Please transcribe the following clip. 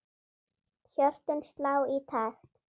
Hjörtun slá í takt.